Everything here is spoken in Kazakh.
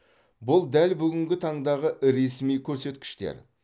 бұл дәл бүгінгі таңдағы ресми көрсеткіштер